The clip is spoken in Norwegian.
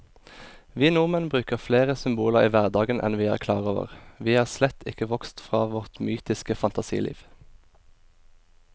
Vi nordmenn bruker flere symboler i hverdagen enn vi er klar over, vi er slett ikke vokst fra vårt mytiske fantasiliv.